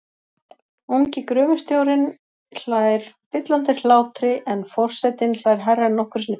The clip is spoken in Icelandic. Ungi gröfustjórinn hlær dillandi hlátri en for- setinn hlær hærra en nokkru sinni fyrr.